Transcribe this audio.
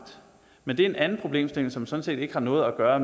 men det er en anden problemstilling som sådan set ikke har noget at gøre